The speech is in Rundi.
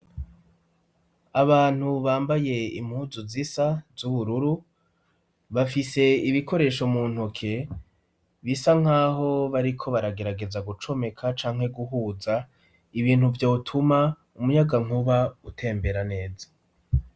Abantu bambaye impuzu zisa z'ubururu, bafise ibikoresho mu ntoke bisa nkaho bariko baragerageza gucomeka canke guhuza ibintu vyo tuma umuyaga nkuba utembera neza.